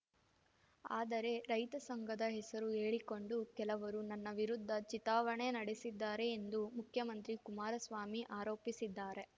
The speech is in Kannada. ಆದರೆ ರೈತ ಸಂಘದ ಹೆಸರು ಹೇಳಿಕೊಂಡು ಕೆಲವರು ನನ್ನ ವಿರುದ್ಧ ಚಿತಾವಣೆ ನಡೆಸಿದ್ದಾರೆ ಎಂದು ಮುಖ್ಯಮಂತ್ರಿ ಕುಮಾರಸ್ವಾಮಿ ಆರೋಪಿಸಿದ್ದಾರೆ